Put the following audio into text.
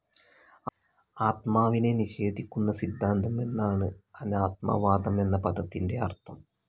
ആത്മാവിനെ നിഷേധിക്കുന്ന സിദ്ധാന്തം എന്നാണ് അനാത്മവാദം എന്ന പദത്തിന്റെ അർഥം.